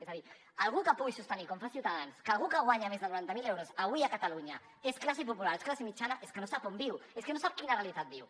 és a dir algú que pugui sostenir com fa ciutadans que algú que guanya més de noranta mil euros avui a catalunya és classe popular és classe mitjana és que no sap on viu és que no sap quina realitat viu